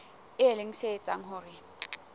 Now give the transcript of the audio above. e leng se etsang hore